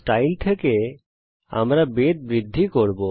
শৈলী থেকে আমরা বেধ বৃদ্ধি করব